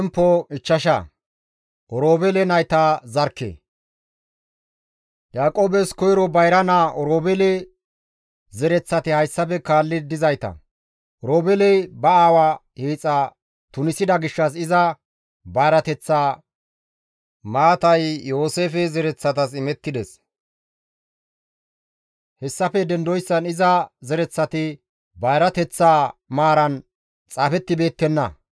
Yaaqoobes koyro bayra naa Oroobeele zereththati hayssafe kaalli dizayta; Oroobeeley ba aawa hiixa tunisida gishshas iza bayrateththa maatay Yooseefe zereththatas imettides; hessafe dendoyssan iza zereththati bayrateththa maaran xaafettibeettenna.